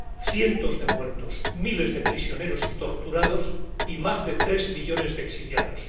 Cientos de muertos, miles de prisioneros y torturados y más de tres millones de exiliados.